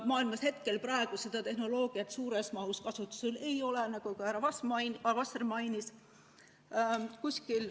Maailmas praegu seda tehnoloogiat suures mahus kasutusel ei ole, nagu ka härra Vasser mainis.